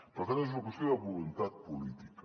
per tant és una qüestió de voluntat política